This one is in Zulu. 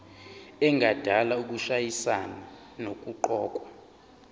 engadala ukushayisana nokuqokwa